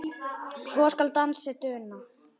svo skal dansinn duna